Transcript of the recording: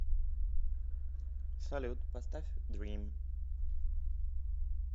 салют поставь дрим